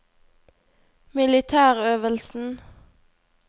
militærøvelsen